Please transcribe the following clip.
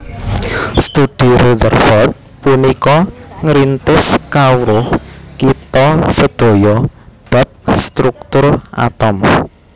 Studhi Rutherford punika ngrintis kawruh kita sedaya bab struktur atom